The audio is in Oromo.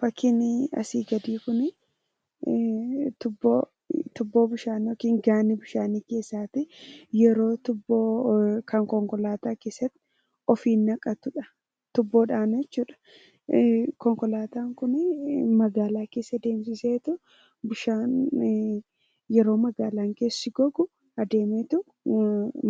Fakkiin asii gadii kun tuubboo bishaan yookiin gaani bishaanii keessaati yeroo tuubboo yookaan konkolaataa keessatti ofiin naqatudha tuubboodhaan jechuudha konkolaataa kun magaalaa keessa deemsiseetu bishaan yeroo magaalaan keessi gogu adeemeetu